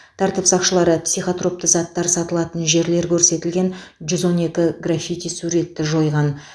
тәртіп сақшылары психотропты заттар сатылатын жерлер көрсетілген жүз он екі граффити суретті жойған